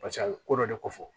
a bɛ ko dɔ de ko fɔ